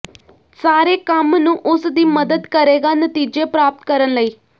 ਸਾਰੇ ਕੰਮ ਨੂੰ ਉਸ ਦੀ ਮਦਦ ਕਰੇਗਾ ਨਤੀਜੇ ਪ੍ਰਾਪਤ ਕਰਨ ਲਈ